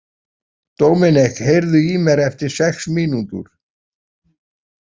Dominik, heyrðu í mér eftir sex mínútur.